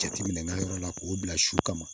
Jateminɛ yɔrɔ la k'o bila su kama